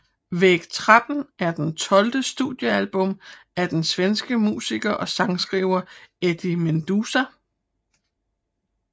Väg 13 er det tolvte studiealbum af den svenske musiker og sangskriver Eddie Meduza